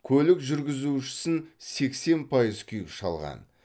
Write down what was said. көлік жүргізушісін сексен пайыз күйік шалған